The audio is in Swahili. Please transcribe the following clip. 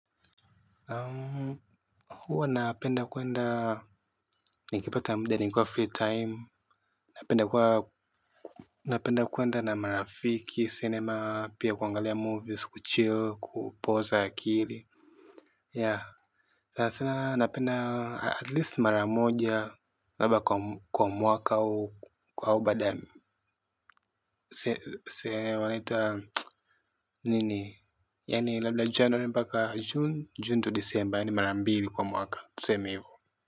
Huwa napenda kuenda nikipata muda nikuwa free time. Napenda kuwa napenda kuenda na marafiki cinema pia kuangalia movies kuchill kupoza akili Yeah. Sasa na napenda at least mara moja labda kwa mwaka huu kwa huu baada ya Sene waniita nini? Yani labda January mpaka June, June to December ya ni marambili kwa mwaka tuseme hivo.